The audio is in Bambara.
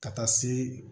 Ka taa se